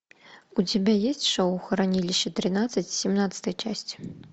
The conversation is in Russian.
у тебя есть шоу хранилище тринадцать семнадцатая часть